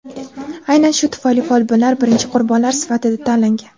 Aynan shu tufayli folbinlar birinchi qurbonlar sifatida tanlangan.